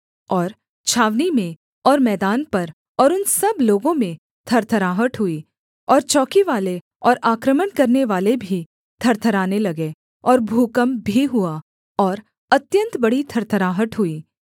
और छावनी में और मैदान पर और उन सब लोगों में थरथराहट हुई और चौकीवाले और आक्रमण करनेवाले भी थरथराने लगे और भूकम्प भी हुआ और अत्यन्त बड़ी थरथराहट हुई